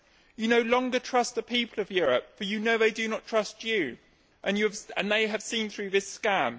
You no longer trust the people of Europe, for you know they do not trust you and they have seen through this scam.